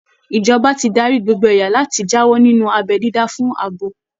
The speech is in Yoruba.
Ìjọba ti darí gbogbo ẹ̀yà láti jáwọ́ nínú abẹ́ dídá fún abo